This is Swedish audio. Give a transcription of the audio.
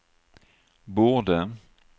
borde